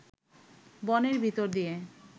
বনের ভিতর দিয়ে